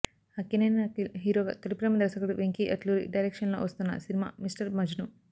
అక్కినేని అఖిల్ హీరోగా తొలిప్రేమ దర్శకుడు వెంకీ అట్లూరి డైరక్షన్ లో వస్తున్న సినిమా మిస్టర్ మజ్ను